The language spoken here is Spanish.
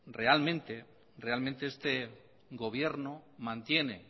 realmente este gobierno mantiene